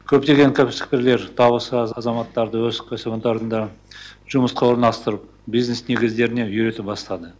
көптеген кәсіпкерлер табысы аз азаматтарды өз кәсіпорындарында жұмысқа орналастырып бизнес негіздеріне үйрете бастады